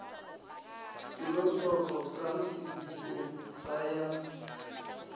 kelotlhoko ka sediko sa ya